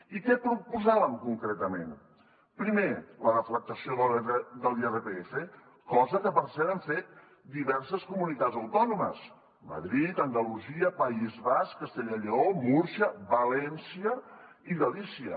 i què proposàvem concretament primer la deflactació de l’irpf cosa que per cert han fet diverses comunitats autònomes madrid andalusia país basc castella i lleó múrcia valència i galícia